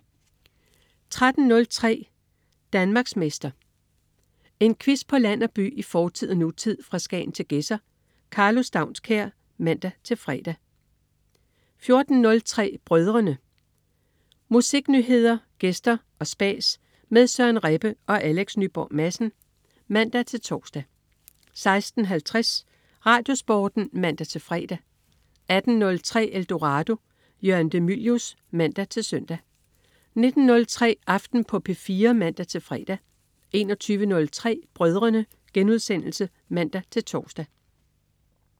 13.03 Danmarksmester. En quiz på land og by, i fortid og nutid, fra Skagen til Gedser. Karlo Staunskær (man-fre) 14.03 Brødrene. Musiknyheder, gæster og spas med Søren Rebbe og Alex Nyborg Madsen (man-tors) 16.50 RadioSporten (man-fre) 18.03 Eldorado. Jørgen de Mylius (man-søn) 19.03 Aften på P4 (man-fre) 21.03 Brødrene* (man-tors)